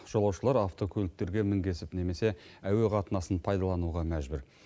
жолаушылар автокөліктерге мінгесіп немесе әуе қатынасын пайдалануға мәжбүр